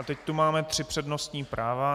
A teď tu máme tři přednostní práva.